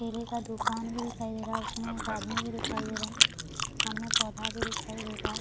दुकान में दिखाई दे रहा है उसमें एक आदमी भी दिखाई दे रहा है सामने पौधा भी दिखाई दे रहा है।